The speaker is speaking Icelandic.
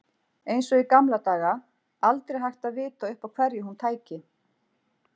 Eins og í gamla daga, aldrei hægt að vita upp á hverju hún tæki.